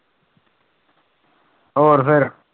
ਹੋਰ ਫਿਰ?